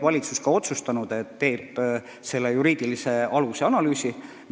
Valitsus on otsustanud, et teeb toimunu juriidilise aluse analüüsi.